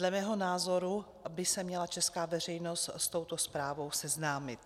Dle mého názoru by se měla česká veřejnost s touto zprávou seznámit.